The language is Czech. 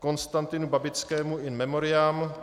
Konstantinu Babickému, in memoriam